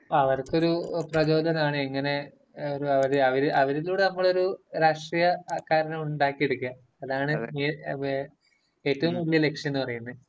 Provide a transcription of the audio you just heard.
അവര്‍ക്ക് ഒരു പ്രചോദനം ആണ്, ഇങ്ങനെ ഒരു...അവരിലൂടെ നമ്മളൊരു രാഷ്ട്രീയക്കാരനെ ഉണ്ടാക്കിയെടുക്കുക..അതാണ് ഏറ്റവും വല്യ ലക്‌ഷ്യം എന്നുപറയുന്നെ.